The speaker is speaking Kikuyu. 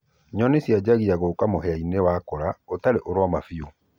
nyonĩ cĩanjagĩa gũũka mũhĩa-ĩnĩ wakũra ũtarĩ ũroma bĩũ